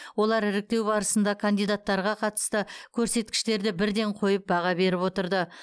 олар іріктеу барысында кандидаттарға қатысты көрсеткіштерді бірден қойып баға беріп отырды